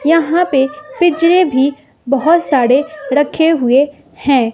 यहां पे पिंजरे भी बहुत साड़े रखे हुए हैं।